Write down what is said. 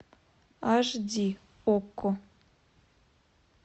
аш ди окко